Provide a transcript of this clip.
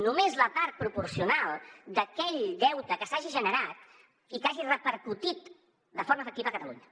només la part proporcional d’aquell deute que s’hagi generat i que hagi repercutit de forma efectiva a catalunya